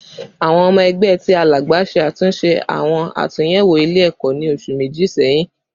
Awọn ọmọ ẹgbẹ ti Alagba ṣe atunyẹwo awọn atunyẹwo iwe-ẹkọ ni oṣu meji sẹhin